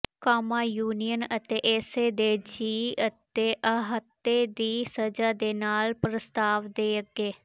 ਕਾਮਾ union ਅਤੇ ਇਸੇ ਦੇ ਜੀਅ ਅਤੇ ਅਹਾਤੇ ਦੀ ਸਜ਼ਾ ਦੇ ਨਾਲ ਪ੍ਰਸਤਾਵ ਦੇ ਅੱਗੇ